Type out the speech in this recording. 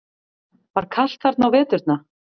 Var kalt þar á veturna?